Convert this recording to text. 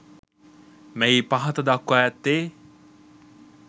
මෙහි පහත දක්වා ඇත්තේ